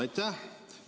Aitäh!